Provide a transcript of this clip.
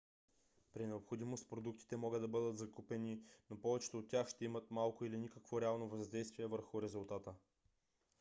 при необходимост продуктите могат да бъдат закупени но повечето от тях ще имат малко или никакво реално въздействие върху резултата